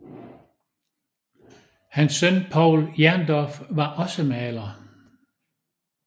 Hans søn Povl Jerndorff var også maler